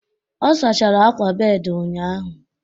ọ sachara akwa bed ụnyahụ